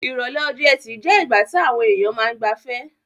Ìrọ̀lẹ́ ọjọ́-ẹtì je ìgbà ti àwon èyàn ma n gbafẹ́